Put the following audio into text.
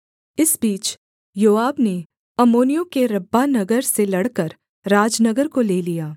इस बीच योआब ने अम्मोनियों के रब्बाह नगर से लड़कर राजनगर को ले लिया